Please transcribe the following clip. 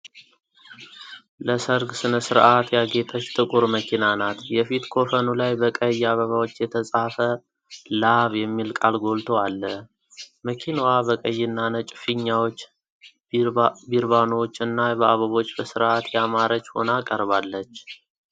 ለሠርግ ሥነ ሥርዓት ያጌጠች ጥቁር መኪና ናት። የፊት ኮፈኑ ላይ በቀይ አበባዎች የተጻፈ “ላቭ” የሚል ቃል ጎልቶ አለ ። መኪናዋ በቀይና ነጭ ፊኛዎች፣ በሪባኖች እና በአበቦች በስርዓት ያማረች ሆና ቀርባለች።